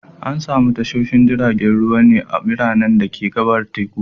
Ana samun tashoshin jiragen ruwa ne a biranen da ka gabar teku.